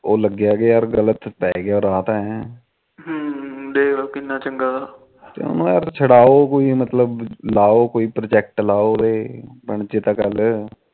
ਉਹ ਲੱਗਿਆ ਕਿ ਗਲਤ ਪੈ ਗਿਆ ਰਾਹ ਤੇ ਹੁ ਦੇਖ ਲਾ ਕਿੰਨਾ ਚੰਗਾ ਤਾ ਉਹਨੂੰ ਯਾਰ ਛਡਾਓ ਉਹਨੂੰ ਮਤਲਬ ਕੋਈ ਪ੍ਰਜੇਕਟ ਲਾਓ ਉਹਦੇ